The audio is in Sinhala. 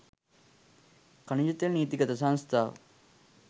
ඛනිජතෙල් නීතිගත සංස්ථාව